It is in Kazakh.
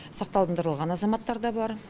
сақтандырылған азаматтар да бар